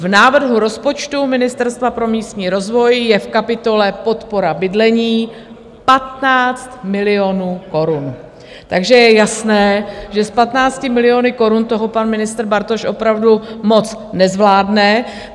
V návrhu rozpočtu Ministerstva pro místní rozvoj je v kapitole Podpora bydlení 15 milionů korun, takže je jasné, že s 15 miliony korun toho pan ministr Bartoš opravdu moc nezvládne.